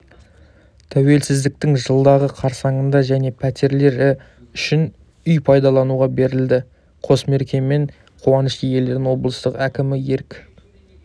тәуелсіздіктің жылдығы қарсаңында және пәтерлі үш үй пайдалануға берілді қос мерекемен қуаныш иелерін облыс әкімі ерік